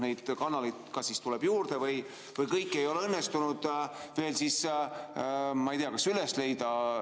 Neid kanaleid tuleb juurde või kõiki ei ole õnnestunud veel, ma ei tea, üles leida.